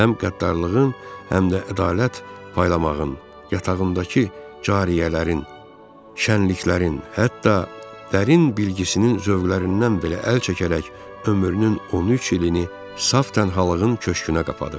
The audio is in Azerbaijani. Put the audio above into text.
Həm qəddarlığın, həm də ədalət paylamağın yatağındakı cariyələrin, şənliklərin, hətta dərin bilgisinin zövqlərindən belə əl çəkərək ömrünün 13 ilini saf tənhalığın köşkünə qapadıb.